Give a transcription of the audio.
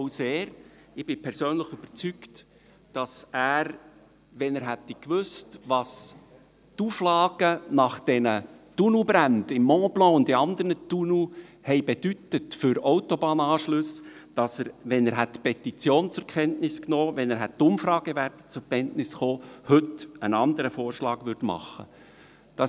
Ich bin persönlich überzeugt, dass er – wenn er gewusst hätte, was die Auflagen nach den Tunnelbränden im Montblanc-Tunnel und in anderen Tunnels für Autobahnanschlüsse bedeutet haben, wenn er die Petition zur Kenntnis genommen hätte, wenn er die Umfragewerte zur Kenntnis genommen hätte – heute einen anderen Vorschlag machen würde.